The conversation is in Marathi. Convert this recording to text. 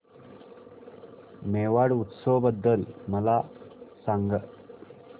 मेवाड उत्सव बद्दल मला सांग